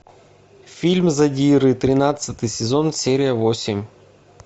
фильм задиры тринадцатый сезон серия восемь